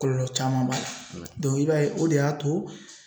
Kɔlɔlɔ caman b'a la i b'a ye o de y'a to.